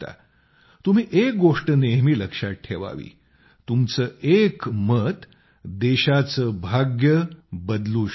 तुम्ही एक गोष्ट नेहमी लक्षात ठेवावीतुमचं एक मत देशाचं भाग्य बदलू शकतं